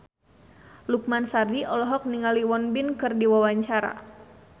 Lukman Sardi olohok ningali Won Bin keur diwawancara